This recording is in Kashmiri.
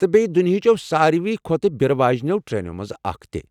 تہٕ بیٚیہِ دُنیاہ چٮ۪و سارِوے کھۄتہٕ بیرٕ واجِنیو ٹرینو منٛزٕ اکھ تہِ۔